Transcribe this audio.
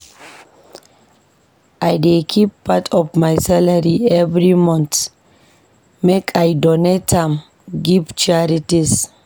I dey keep part of my salary every month make I donate am give charities.